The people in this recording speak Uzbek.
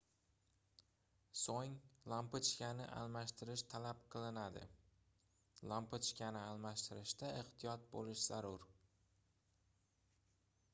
soʻng lampochkani almashtirish talab qilinadi lampochkani almashtirishda ehtiyot boʻlish zarur